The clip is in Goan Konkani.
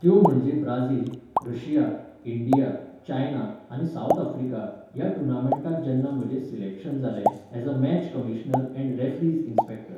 त्यो म्हणजे ब्राजील, रशिया, इंडिया, चायना आनी सावथ अफ्रीका, ह्या टुर्नामेंटाक जेन्ना म्हजें सिलेक्शन जालें as a match commissioner and referees inspector.